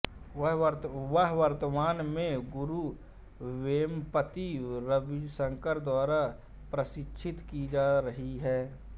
वह वर्तमान में गुरु वेम्पति रविशंकर द्वारा प्रशिक्षित की जा रहीं हैं